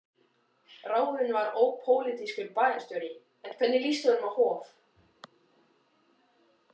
Ráðinn var ópólitískur bæjarstjóri, en hvernig líst honum á Hof?